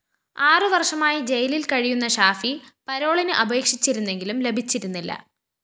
ആറുവര്‍ഷമായി ജയിലില്‍ കഴിയുന്ന ഷാഫി പരോളിന് അപേക്ഷിച്ചിരുന്നെങ്കിലും ലഭിച്ചിരുന്നില്ല